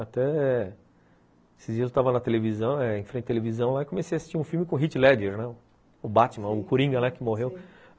Até esses dias eu estava na televisão eh, em frente à televisão, e comecei a assistir um filme com o Heath Ledger, o Batman, o Coringa que morreu.